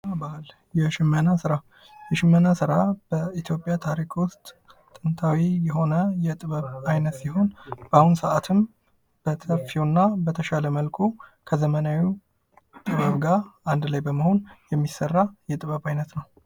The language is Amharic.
ጥበብና ባህል ፡-የሽመና ስራ ታሪክ ውስጥ ጥንታዊ የሆነ የጥበብ አይነት ሲሆን በተሻለ መልኩ ከዘመናዊ ስራዎች ጋር በመሆን ጥሩ ጥሩ ስራዎችን የምንሰራበት ነው ።